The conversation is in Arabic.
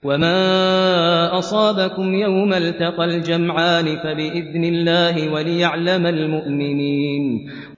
وَمَا أَصَابَكُمْ يَوْمَ الْتَقَى الْجَمْعَانِ فَبِإِذْنِ اللَّهِ وَلِيَعْلَمَ الْمُؤْمِنِينَ